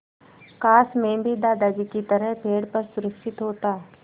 काश मैं भी दादाजी की तरह पेड़ पर सुरक्षित होता